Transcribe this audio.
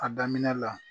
A daminɛ la